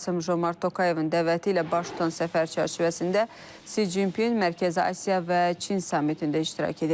Kasım-Jomart Tokayevin dəvəti ilə baş tutan səfər çərçivəsində Si Cinpin Mərkəzi Asiya və Çin sammitində iştirak edəcək.